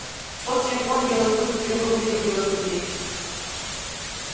в форте юкон белый клык впервые увидел белых людей